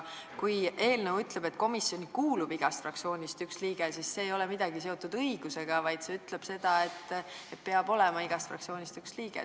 Kui eelnõu ütleb, et komisjoni kuulub igast fraktsioonist üks liige, siis see ei ole kuidagi õigusega seotud, vaid eelnõu ütleb, et peab olema igast fraktsioonist üks liige.